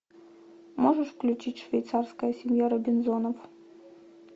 можешь включить швейцарская семья робинзонов